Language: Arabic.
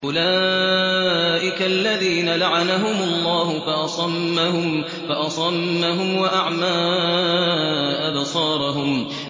أُولَٰئِكَ الَّذِينَ لَعَنَهُمُ اللَّهُ فَأَصَمَّهُمْ وَأَعْمَىٰ أَبْصَارَهُمْ